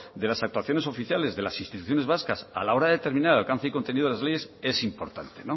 de las actuaciones oficiales de las instituciones vascas a la hora de determinar alcance y contenido de las leyes es importante